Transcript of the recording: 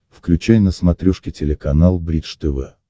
включай на смотрешке телеканал бридж тв